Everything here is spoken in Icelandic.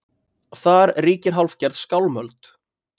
Þar ríkir hálfgerð skálmöld